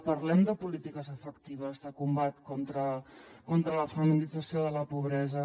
parlem de polítiques efectives de combat contra la feminització de la pobresa